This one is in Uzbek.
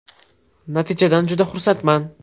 Natijadan juda xursandman.